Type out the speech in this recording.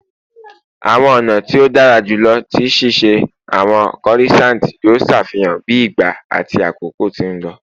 Awọn ọna ti o dara julọ ti ṣiṣe awọn corissants yoo ṣafihan bi ìgba ati àkókò ti n lọ